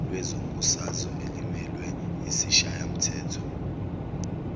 lezombusazwe elimelwe yisishayamthetho